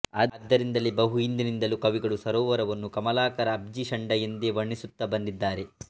ಆದ್ದರಿಂದಲೇ ಬಹು ಹಿಂದಿನಿಂದಲೂ ಕವಿಗಳು ಸರೋವರವನ್ನು ಕಮಲಾಕರ ಅಬ್ಜಿಷಂಡ ಎಂದೇ ವರ್ಣಿಸುತ್ತ ಬಂದಿದ್ದಾರೆ